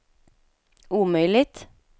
omöjligt